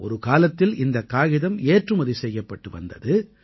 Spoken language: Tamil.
ஒரு காலத்தில் இந்தக் காகிதம் ஏற்றுமதி செய்யப்பட்டு வந்தது